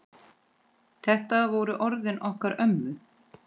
Þetta voru orðin okkar ömmu.